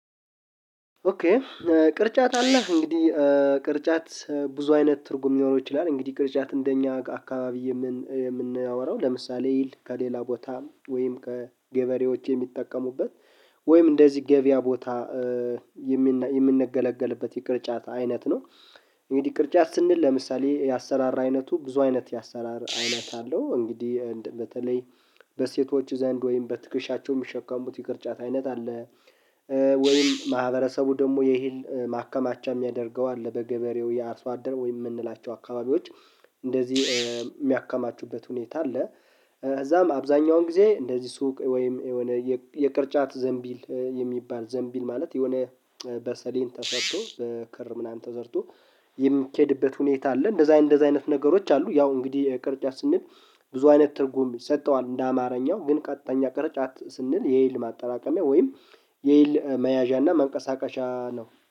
ኦኬ ቅርጫት አለ እንግዲህ ቅርጫት ብዙ አይነት ትርጉም ሊኖረው ይችላል፤ እንግዲህ ቅርጫት እንደኛ አካባቢ የምንወራው ለምሳሌ ይል ከሌላ ቦታ ወይም ከገበሬዎች የሚጠቀሙበት ወይም እንደዚህ ገበያ ቦታ የሚነ የምንገለገልበት የቅርጫት አይነት ነ፤ እንግዲህ ቅርጫት ስንል ለምሳሌ የአሰራራ አይነቱ ብዙ አይነት የአሰራር አይነት አለው፤ እንግዲህ በተለይ በሴቶች ዘንድ ወይም በትክሻቸው የሚሸከሙት ይቅርጫት አይነት አለ፤ ወይም ማህበረሰቡ ደግሞ የሂል ማከማቻ የሚያደርገው አለ፤ በገበሬው የአርሶ አደር ወይ የምንላቸው አካባቢዎች እንደዚህ የሚያከማቹበት ሁኔታ አለ። እዛም አብዛኛውን ጊዜ እንደዚህ ሱቅ ወይም የሆነ የቅርጫት ዘንቢል የሚባል ዘንቢል ማለት የሆነ በሰሊን ተሰርቶ፣ በክር ምናምን ተሰርቶ የሚኬድበት ሁኔታ አለ፤ እንደዚህ አይነት እንደዚህ አይነት ነገሮች አሉ፤ ያው እንግዲህ ቅርጫት ስንል ብዙ አይነት ትርጉም ሰጥተዋል እንደ አማርኛው ግን ቀጥተኛ ቅርጫት ስንል የኤል ማጠራቀሚያ ወይም የኤል መያዣና መንቀሳቀሻ ነው።